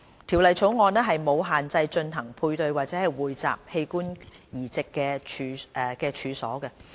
《條例草案》沒有限制進行配對或匯集器官移植的處所。